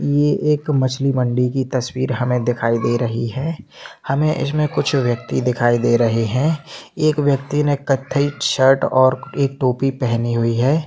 ये एक मछली मंडी की तस्वीर हमे दिखाई दे रही है हमे इसमे कुछ व्यक्ति दखाई दे रहे है एक व्यक्ति ने कत्थई शर्ट पहनी है।